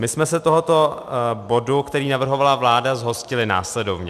My jsme se tohoto bodu, který navrhovala vláda, zhostili následovně.